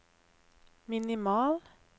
minimal